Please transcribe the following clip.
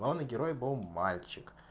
главный герой был мальчик